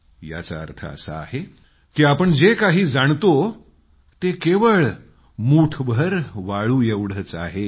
याचा अर्थ असा आहे की आपण जे काही जाणतो ते मुठीतल्या अवघ्या वाळूच्या एका कणाएवढंच आहे